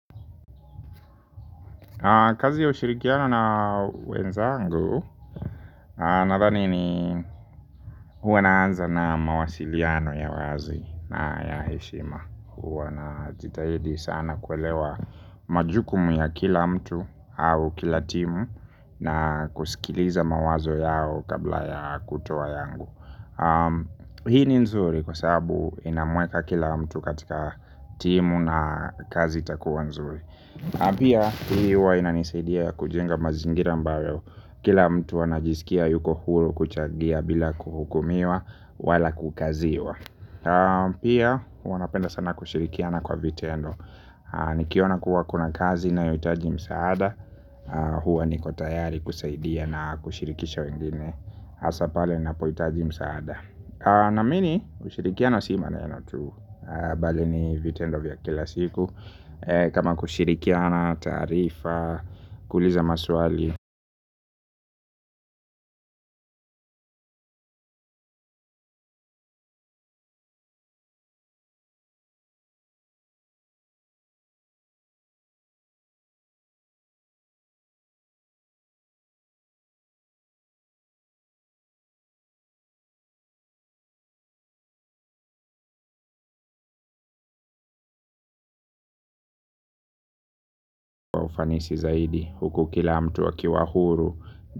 Kazi ya ushirikiano na wenzangu Nathani ni huwa naanza na mawasiliano ya wazi na ya heshima huwa najitahidi sana kuelewa majukumu ya kila mtu au kila timu. Na kusikiliza mawazo yao kabla ya kutoa yangu. Hii ni nzuri kwa sababu inamweka kila mtu katika timu na kazi takuwa nzuri. Pia hii huwa ina nisaidia kujenga mazingira ambayo kila mtu anajisikia yuko huru kuchagia bila kuhukumiwa wala kukaziwa. Pia huwa napenda sana kushirikiana kwa vitendo. Nikiona kuwa kuna kazi inayohitaji msaada. Huwa ni kotayari kusaidia na kushirikisha wengine. Hasapale na poitaji msaada. Naamini ushirikiana si maneno tu bali ni vitendo vya kila siku. Kama kushirikiana tarifa kuliza maswali kwa ufanisi zaidi huku kila mtu aki wahuru.